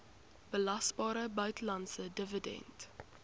belasbare buitelandse dividend